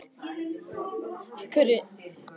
Minningin hafði þegar fegrað þennan tíma.